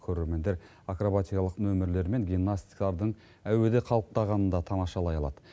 көрермендер акробатикалық нөмірлер мен гимнасттардың әуеде қалықтағанын да тамашалай алады